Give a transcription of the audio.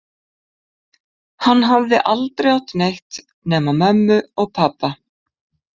Hann hafði aldrei átt neitt nema mömmu og pabba.